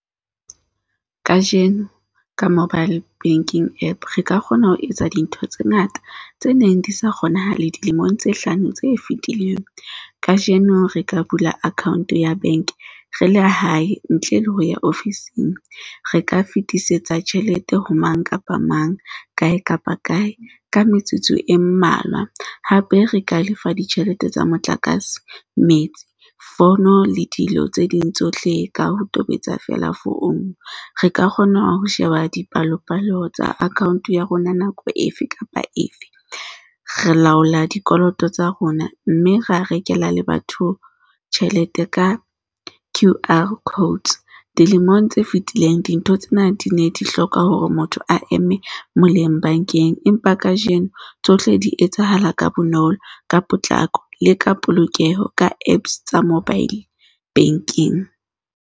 Kajeno ka mobile banking App re ka kgona ho etsa dintho tse ngata tse neng di sa kgonahale dilemong tse hlano tse fetileng. Kajeno re ka bula account ya bank re le hae, ntle le ho ya ofising. Re ka fetisetsa tjhelete ho mang kapa mang, kae kapa kae, ka metsotso e mmalwa. Hape re ka lefa ditjhelete tsa motlakase metsi, fono le dilo tse ding tsohle ka ho tobetsa feela founu. Re ka kgona ho sheba dipalopalo tsa account ya rona nako efe kapa efe. Re laola dikoloto tsa rona mme ra rekela le batho tjhelete ka Q_R code. Dilemong tse fetileng, dintho tsena di ne di hloka hore motho a eme moleng bankeng, empa kajeno tsohle di etsahala ka bonolo ka potlako le ka polokeho. ka Apps tsa mobile banking.